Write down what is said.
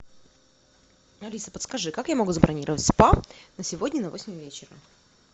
алиса подскажи как я могу забронировать спа на сегодня на восемь вечера